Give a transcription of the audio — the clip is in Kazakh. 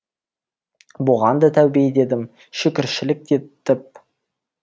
бұған да тәубе дедім шүкіршілік те етіп